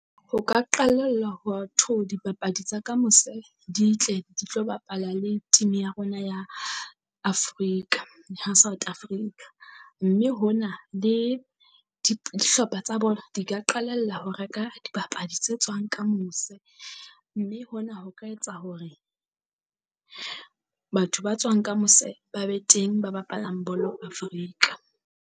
Ho ka qalella ho wa tho dipapadi tsa ka mose di tle di tlo bapala le team ya rona ya Afrika ya ha South Africa. Mme hona di dihlopha tsa bolo di ka qalella ho reka dibapadi tse tswang ka mose. Mme hona ho ka etsa hore batho ba tswang ka mose ba be teng ba bapalang bolo Africa.